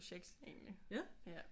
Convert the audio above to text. Projekt egentlig ja